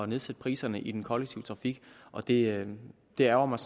nedsætte priserne i den kollektive trafik og det det ærgrer mig